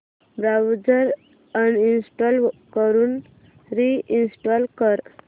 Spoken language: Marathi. ब्राऊझर अनइंस्टॉल करून रि इंस्टॉल कर